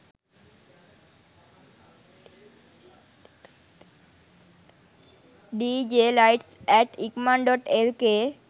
dj lights at ikman.lk